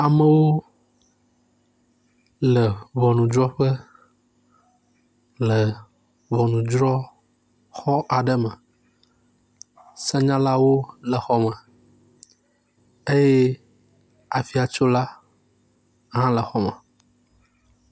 Amewo le ʋɔnudrɔƒe le ʋɔnudrɔxɔ aɖe me senyalawo le xɔ me eye afiatsola hã le xɔ me